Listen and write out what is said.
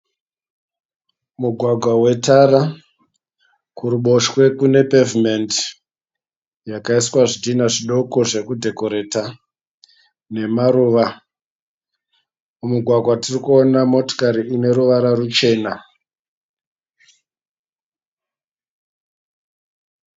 Mugwagwa wetara kuruboshwe kune pevhimendi yakaiswa zvidhinha zvidoko zvekudhekoreta nemaruva. Mumugwagwa tirikuona motikari ine ruvara ruchena.